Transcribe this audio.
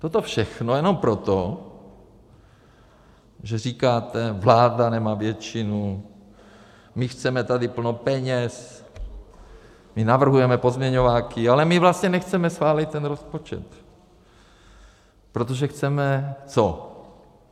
Toto všechno jenom proto, že říkáte: vláda nemá většinu, my chceme tady plno peněz, my navrhujeme pozměňováky, ale my vlastně nechceme schválit ten rozpočet, protože chceme - co?